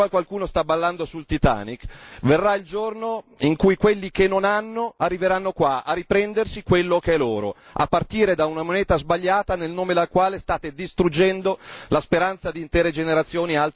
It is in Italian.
Qua qualcuno sta ballando sul Titanic verrà il giorno in cui quelli che non hanno arriveranno qua a riprendersi quello che è loro, a partire da una moneta sbagliata nel nome della quale state distruggendo la speranza di intere generazioni.